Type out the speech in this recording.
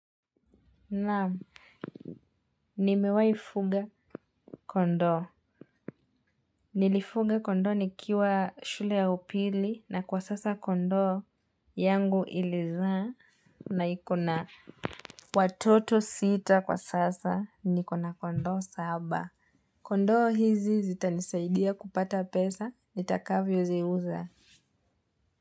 Naam nimewahi fuga kondoo. Nilifuga kondoo nikiwa shule ya upili na kwa sasa kondoo yangu ilizaa na iko na watoto sita kwa sasa niko na kondoo saba. Kondoo hizi zitanisaidia kupata pesa nitakavyo ziuza.